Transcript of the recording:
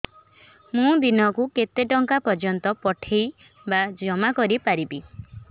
ମୁ ଦିନକୁ କେତେ ଟଙ୍କା ପର୍ଯ୍ୟନ୍ତ ପଠେଇ ବା ଜମା କରି ପାରିବି